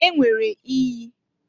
E nwere iyi.